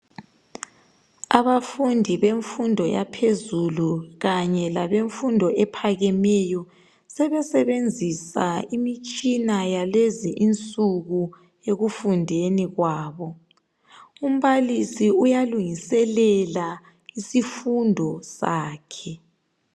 Abafundi bemfundo yaphezulu kanye labemfundo ephakemeyo sebesebenzisa imitshina yalezi nsuku ekufundeni kwabo umbalisi uyalungiselela isifundo sakhe.